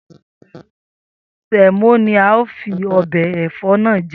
Sè̩mó ni a óò fi o̩bè̩ è̩fó̩ náà je